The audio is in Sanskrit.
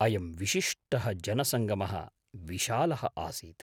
अयं विशिष्टः जनसङ्गमः विशालः आसीत्।